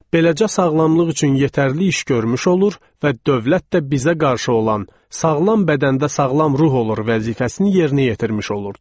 Beləcə sağlamlıq üçün yetərli iş görmüş olur və dövlət də bizə qarşı olan “sağlam bədəndə sağlam ruh olur” vəzifəsini yerinə yetirmiş olurdu.